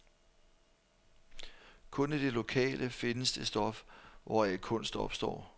Kun i det lokale findes det stof, hvoraf kunst opstår.